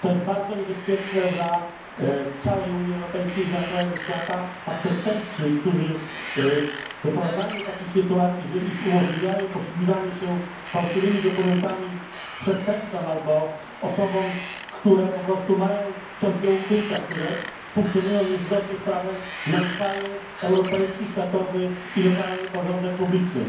To jest bardzo niebezpieczne dla całej Unii Europejskiej, dla całego świata, a przestępcy, którzy doprowadzają do takich sytuacji, że umożliwiają posługiwanie się fałszywymi dokumentami przestępcom albo osobom, które po prostu mają coś do ukrycia, które funkcjonują niezgodnie z prawem, naruszają europejski, światowy i lokalny porządek publiczny.